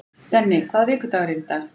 Denni, hvaða vikudagur er í dag?